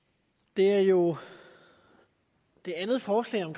det er jo det andet forslag om